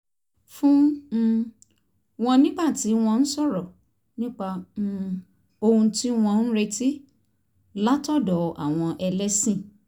fún um wọn nígbà tí wọ́n ń sọ̀rọ̀ nípa um ohun tí wọ́n ń retí látọ̀dọ̀ àwọn ẹlẹ́sìn